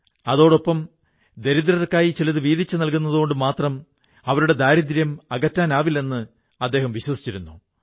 അതോടൊപ്പം അദ്ദേഹം ദരിദ്രർക്കായി ചിലതു വീതിച്ചു നല്കുന്നതുകൊണ്ടു മാത്രം അവരുടെ ദാരിദ്ര്യം അകറ്റാനാവില്ലെന്നും വിശ്വസിച്ചിരുന്നു